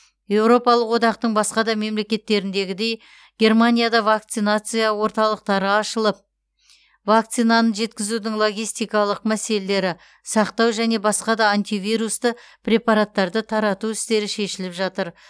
еуропалық одақтың басқа да мемлекеттеріндегіндей германияда вакцинация орталықтары салынып вакцинаны жеткізудің логистикалық мәселелері сақтау және басқа да антивирусты препараттарды тарату істері шешіліп жатыр